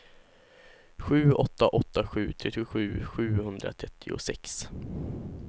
sju åtta åtta sju trettiosju sjuhundratrettiosex